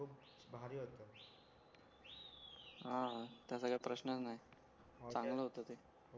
हां त्याचा काय प्रश्नच नाय चांगला होता ते